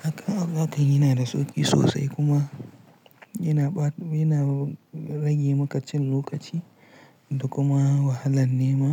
Hakan yana da sauƙi sosai kuma yana rage maka cin lokaci da kuma wahalan nema.